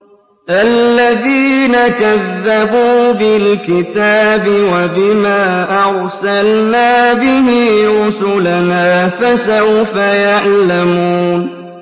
الَّذِينَ كَذَّبُوا بِالْكِتَابِ وَبِمَا أَرْسَلْنَا بِهِ رُسُلَنَا ۖ فَسَوْفَ يَعْلَمُونَ